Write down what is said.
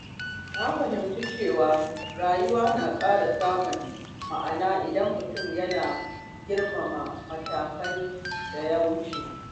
Na fahimci cewa rayuwa na ƙara samun ma’ana idan mutum yana girmama matakan da ya wuce.